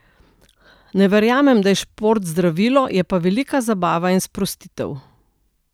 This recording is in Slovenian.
Ne verjamem, da je šport zdravilo, je pa velika zabava in sprostitev.